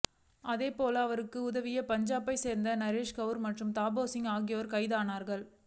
அதேபோல அவர்களுக்கு உதவிய பஞ்சாபைச் சேர்ந்த நரேஷ் கவுர் மற்றும் தபேர் சிங் ஆகியோரும் கைதானார்கள்